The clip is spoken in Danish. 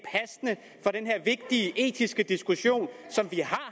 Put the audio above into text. vigtige etiske diskussion som vi